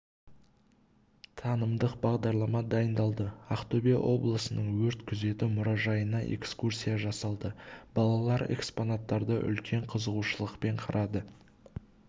танымдық бағдарлама дайындалды ақтөбе облысының өрт күзеті мұражайына экскурсия жасалды балалар экспонаттарды үлкен қызығушылықпен қарады